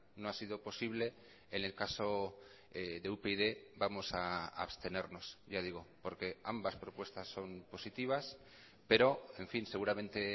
no ha sido posible en el caso de upyd vamos a abstenernos ya digo porque ambas propuestas son positivas pero en fin seguramente